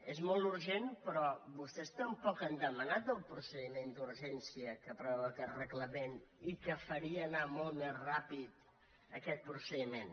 és molt urgent però vostès tampoc han demanat el procediment d’urgència que preveu aquest reglament i que faria anar molt més ràpidament aquest procediment